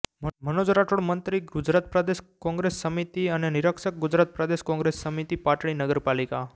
મનોજ રાઠોડ મંત્રી ગુજરાત પ્રદેશ કોંગ્રેસ સમિતિ અને નિરીક્ષક ગુજરાત પ્રદેશ કોંગ્રેસ સમિતિ પાટડી નગરપાલિકા